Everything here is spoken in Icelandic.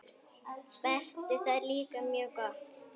Berti það líka mjög gott.